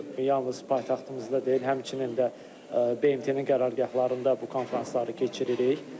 Yalnız paytaxtımızda deyil, həmçinin də BMT-nin qərargahlarında bu konfransları keçiririk.